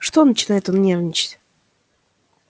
что начинает он нервничать